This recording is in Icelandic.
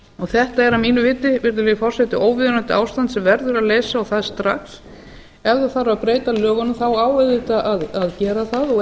þetta er að mínu viti virðulegi forseti óviðunandi ástand sem verður að leysa og það strax ef þarf að breyta lögunum þá á auðvitað að gera það og